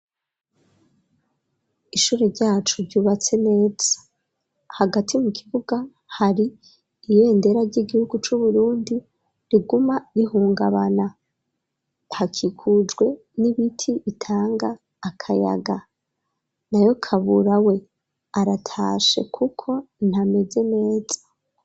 Ishure ryacu ryubatse neza hagati mu kibuga hari ibendera ry'igihugu c'uburundi riguma ihungabana hakikujwe n'ibiti bitanga akayaga nayo kabura we aratashe kuko ntameze neza.